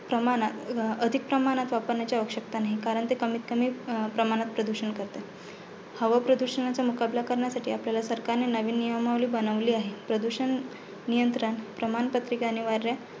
प्रमाणत अं अधिक प्रमाणात वापरण्याची आवश्यकता नाही. कारण ते कमीतकमी प्रमाणत प्रदूषण करते. हवा प्रदुषणाचा मुकाबला करण्यासाठी आपल्या सरकारने नवीन नियमावली बनवली आहे. प्रदूषण नियंत्रण प्रमाणपत्रिका अनिवार्य